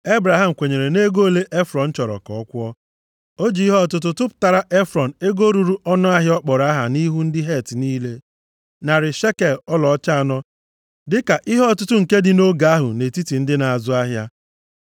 Ebraham kwenyere nʼego ole Efrọn chọrọ ka ọ kwụọ. O ji ihe ọtụtụ tụpụtara Efrọn ego ruru ọnụahịa ọ kpọrọ aha nʼihu ndị Het niile, narị shekel ọlaọcha anọ, dịka ihe ọtụtụ nke dị nʼoge ahụ nʼetiti ndị na-azụ ahịa.